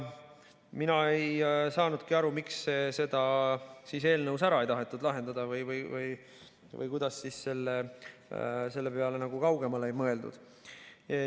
Mina ei saanudki aru, miks seda eelnõus ära ei tahetud lahendada või kuidas kaugemale ei mõeldud.